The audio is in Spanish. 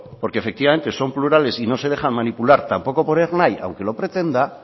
porque efectivamente son plurales y no se dejan manipular tampoco por ernai aunque lo pretenda